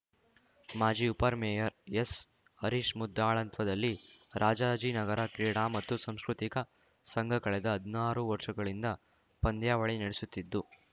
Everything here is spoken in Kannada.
ಮಾಜಿ ಉಪರ್ ಮೇಯರ್‌ ಎಸ್‌ಹರೀಶ್‌ ಮುದ್ದಾಳತ್ವದಲ್ಲಿ ರಾಜಾಜಿನಗರ ಕ್ರೀಡಾ ಮತ್ತು ಸಾಂಸ್ಕೃತಿಕ ಸಂಘ ಕಳೆದ ಹದ್ನಾರು ವರ್ಷಗಳಿಂದ ಪಂದ್ಯಾವಳಿ ನಡೆಸುತ್ತಿದ್ದು